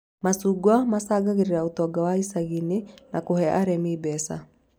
Macungwa macangagĩra ũtonga wa icagi-inĩ na kũhe arĩmi mbeca